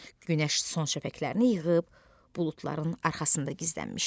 Günəş son şəfəqlərini yığıb buludların arxasında gizlənmişdi.